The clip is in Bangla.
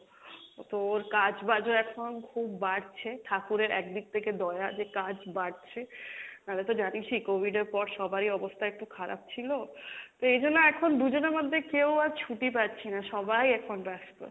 ও তো ওর কাজ বাজ ও এখন খুব বাড়ছে, ঠাকুরের এক দিক থেকে দয়া যে কাজ বাড়ছে, নালে তো জানিসই COVID এর পর সবারই অবস্থা একটু খারাপ ছিলো, তো এই জন্য এখন দুজনের মধ্যে কেও আর ছুটি পাচ্ছি না, সবাই এখন ব্যাস্ত।